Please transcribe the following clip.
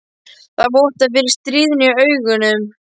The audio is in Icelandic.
Það vottar fyrir stríðni í augunum.